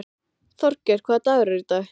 Þorgeir, hvaða dagur er í dag?